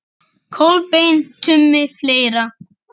Kolbeinn Tumi Fleira?